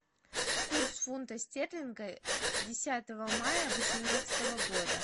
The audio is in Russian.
курс фунта стерлинга десятого мая восемнадцатого года